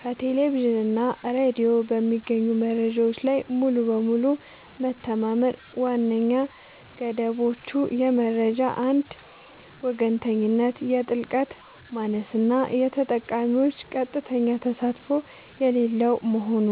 ከቴሌቪዥን እና ሬዲዮ በሚገኙ መረጃዎች ላይ ሙሉ በሙሉ መተማመን ዋነኛ ገደቦቹ የመረጃ አንድ ወገንተኝነት፣ የጥልቀት ማነስ እና የተጠቃሚዎች ቀጥተኛ ተሳትፎ የሌለው መሆኑ